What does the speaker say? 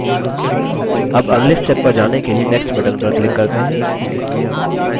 अब अगले step पर जाने के लिए next button पर click करते हैं